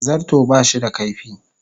Zarto ba shi da kaifi.